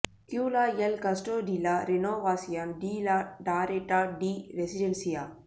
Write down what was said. கியூலா எல் கஸ்டோ டி லா ரெனோவாசியான் டி லா டாரெட்டா டி ரெசிடென்சியா